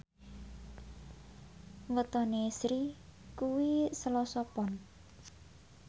wetone Sri kuwi Selasa Pon